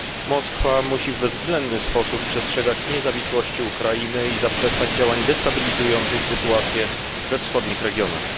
Moskwa musi bezwzględnie przestrzegać niezawisłości Ukrainy i zaprzestać działań destabilizujących sytuację we wschodnich regionach.